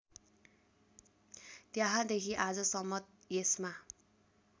त्यहाँदेखि आजसम्म यसमा